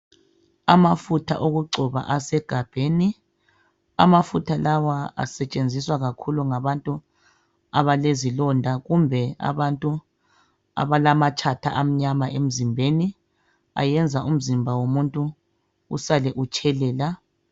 Amafutha okugcoba asegabheni. Amafutha la asetshenziswa kakhulu ngabantu abalezilonda kumbe abantu abalamatshatha amnyama emzimbeni. Ayenza umzimba womuntu usale utshelela.